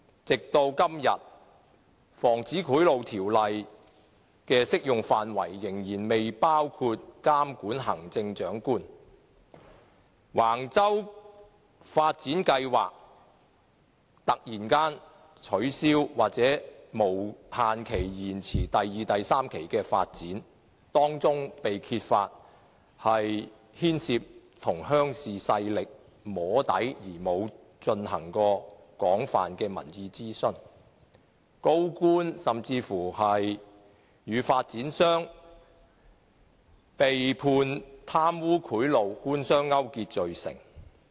直至今天，《防止賄賂條例》的適用範圍仍然未包括規管行政長官；橫洲發展計劃突然取消，第二期及第三期發展無限期延遲，當中被揭發牽涉向鄉事勢力"摸底"而未有進行廣泛民意諮詢；高官甚至與發展商被判貪污賄賂，官商勾結罪成。